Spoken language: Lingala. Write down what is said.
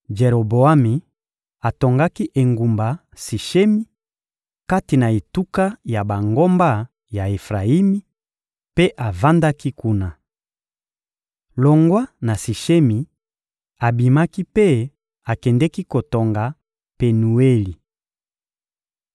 Jeroboami atongaki engumba Sishemi, kati na etuka ya bangomba ya Efrayimi, mpe avandaki kuna. Longwa na Sishemi, abimaki mpe akendeki kotonga Penueli.